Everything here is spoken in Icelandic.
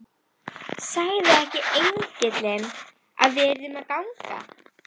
Sagði ekki engillinn að við yrðum að ganga?